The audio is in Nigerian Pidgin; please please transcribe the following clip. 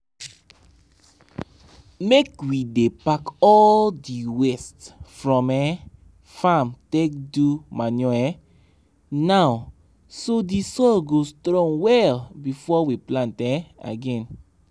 make we dey pack all di waste from um farm take do manure um now so di soil go strong well before we plant um again.